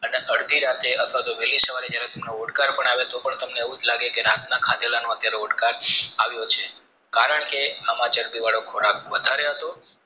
એટલે અડધી રાતે અથવા તો વહેલી સવારે જયારે ભૂખ ઓડકાર પણ આવે તો પણ તમને એવું જ લાગે કે રત્ન ખાધેલાનો અત્યરે ઓડકાર આવ્યો છે કારણ કે આમાં ચરબી વાળો ખોરાક વધારે હતો